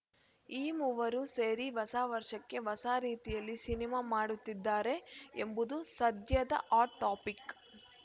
ಈ ಮೂವರು ಸೇರಿ ಹೊಸ ವರ್ಷಕ್ಕೆ ಹೊಸ ರೀತಿಯಲ್ಲಿ ಸಿನಿಮಾ ಮಾಡುತ್ತಿದ್ದಾರೆ ಎಂಬುದು ಸದ್ಯದ ಹಾಟ್‌ ಟಾಪಿಕ್‌